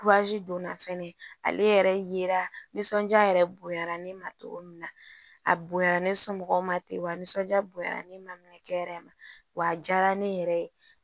donna fɛnɛ ale yɛrɛ ye nisɔndiya yɛrɛ bonyara ne ma cogo min na a bonyara ne somɔgɔw ma ten wa nisɔndiya bonyara ne ma ne yɛrɛ ma wa a diyara ne yɛrɛ ye